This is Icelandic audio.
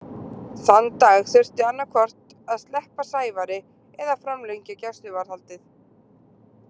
Þann dag þurfti annað hvort að sleppa Sævari eða framlengja gæsluvarðhaldið.